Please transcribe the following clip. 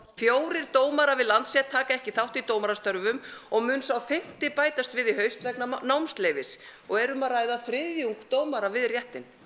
fjórir dómarar við Landsrétt taka ekki þátt í dómarastörfum og mun sá fimmti bætast við í haust vegna og erum að ræða þriðjung dómara við réttinn